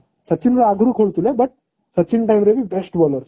ସଚିନ ର ଆଗରୁ ଖେଳୁଥିଲା but ସଚିନ time ରେ ବି best bowler